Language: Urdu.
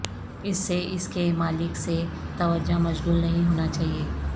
اس سے اس کے مالک سے توجہ مشغول نہیں ہونا چاہئے